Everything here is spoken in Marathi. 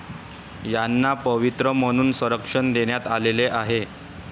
यांना पवित्र मानून संरक्षण देण्यात आलेले आहे.